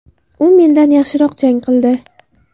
U mendan yaxshiroq jang qildi.